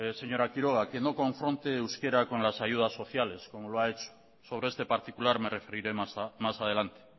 señora quiroga que no confronte euskara con las ayudas sociales como ha hecho sobre este particular me referiré más adelante